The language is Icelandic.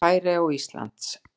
Færeyja og Íslands.